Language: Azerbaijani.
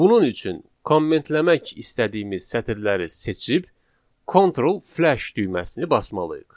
Bunun üçün kommentləmək istədiyimiz sətirləri seçib Ctrl Flash düyməsini basmalıyıq.